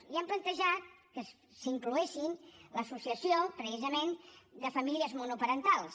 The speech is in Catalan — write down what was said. i hem plantejat que s’incloguessin l’associació precisament de famílies monoparentals